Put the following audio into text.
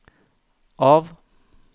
av